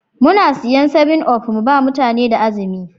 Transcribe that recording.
Muna siyan 7up mu ba mutane da azumi.